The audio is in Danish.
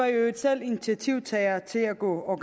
i øvrigt selv initiativtagere til at gå